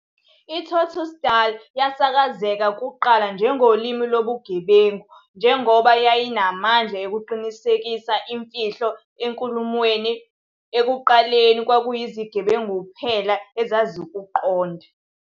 I-Tsotsitaal yasakazeka kuqala njengolimi lobugebengu, njengoba yayinamandla okuqinisekisa imfihlo enkulumweni- ekuqaleni kwakuyizigebengu kuphela ezazikuqonda.